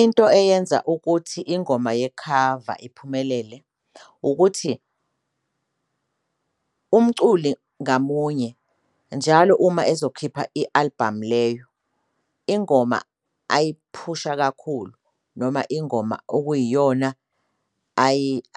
Into eyenza ukuthi ingoma yekhava iphumelele ukuthi umculi ngamunye njalo uma ezokhipha i-album leyo ingoma ayiphusha kakhulu noma ingoma okuyiyona